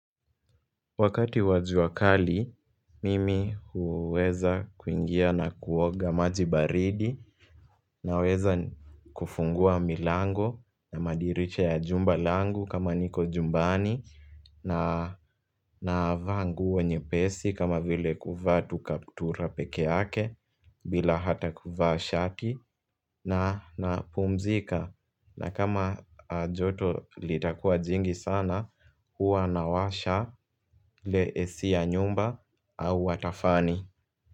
Wakati wajuakali, mimi huweza kuingia na kuoga maji baridi na weza kufungua milango na madirisha ya jumba langu kama niko jumbani na navaa nguo nyepesi kama vile kuvaa tukaptura pekeake bila hata kuvaa shati napumzika na kama joto litakua jingi sana hua nawasha ile AC ya nyumba au watafani.